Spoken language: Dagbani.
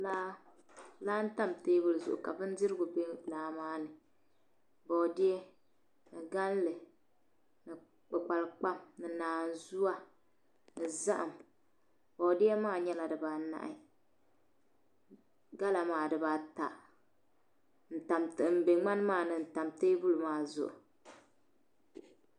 Laa n tam teebuli zuɣu ka bindirigu bɛ laa maa ni boodiyɛ ni galli ni kpukpali kpam ni naanzuwa ni zaham boodiyɛ maa nyɛla dibaanahi gala maa dibaata n bɛ ŋmani maa ni n tam teebuli maa zuɣu